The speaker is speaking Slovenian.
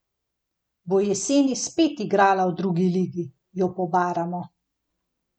Bo jeseni spet igrala v drugi ligi, jo pobaramo.